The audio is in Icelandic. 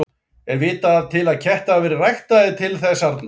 Er vitað til að kettir hafi verið ræktaðir til þess arna?